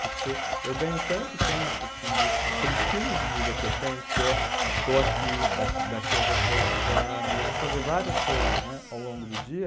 Porque eu ganho tanto tempo assim de, para o estilo de vida que eu tenho, que é estou aqui, daqui daqui eu vou para outro lugar, eu vou fazer várias coisas, né, ao longo do dia.